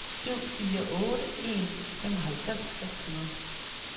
syv fire otte en femoghalvfems seks hundrede